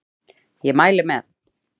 Ég mæli með